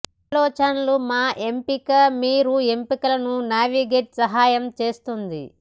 ఆలోచనలు మా ఎంపిక మీరు ఎంపికలను నావిగేట్ సహాయం చేస్తుంది